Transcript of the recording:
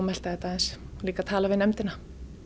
melta þetta aðeins líka tala við nefndina